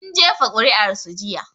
Sun jefa kuri'ar su jiya